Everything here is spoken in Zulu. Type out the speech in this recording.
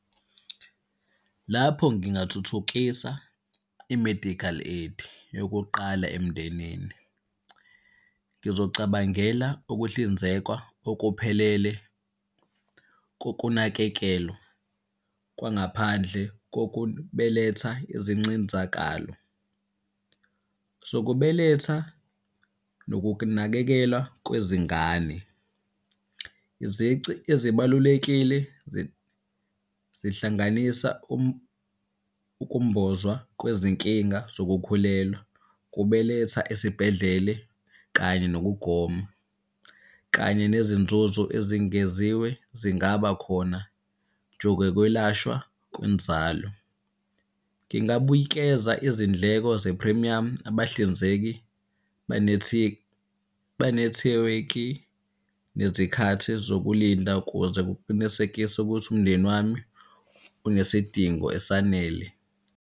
Lapho ngingathuthukisa i-medical aid yokuqala emndenini. Ngizocabangela ukuhlinzekwa okuphelele kokunakekelwa kwangaphandle kokubeletha izincinzakalo zokubeletha nokunakekelwa kwezingane. Izici ezibalulekile zihlanganisa ukumbozwa kwezinkinga zokukhulelwa, kubeletha esibhedlele kanye nokugoma, kanye nezinzuzo ezingeziwe zingaba khona jogokwelashwa kwenzalo. Ngingabuyikeza izindleko zephrimiyamu, abahlinzeki benethiwekhi nezikhathi zokulinda ukuze kuqinisekiswe ukuthi umndeni wami unesidingo esanele.